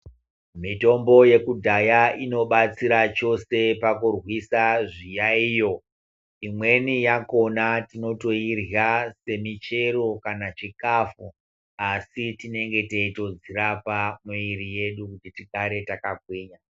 Mitombo yekudhaya inobatsira chose pakurwisa zviyaiyo. Imweni yakhona tinotoirya semichero kana chikafu, asi tinenge teitodzirapa mwiri yedu kuti tigare takagwinya.